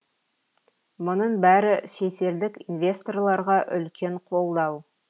мұның бәрі шетелдік инвесторларға үлкен қолдау